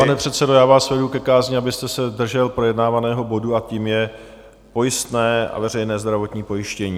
Pane předsedo, já vás vedu ke kázni, abyste se držel projednávaného bodu, a tím je pojistné na veřejné zdravotní pojištění.